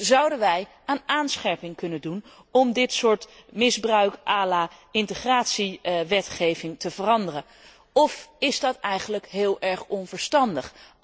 Dus zouden wij aan aanscherping kunnen doen om dit soort misbruik à la integratiewetgeving te veranderen, of is dat eigenlijk heel erg onverstandig?